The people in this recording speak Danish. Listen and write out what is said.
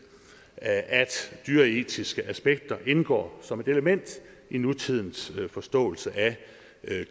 at dyreetiske aspekter indgår som et element i nutidens forståelse af